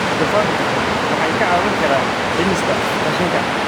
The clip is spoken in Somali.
Doofaarku waxay kaa caawin karaan dhimista qashinka.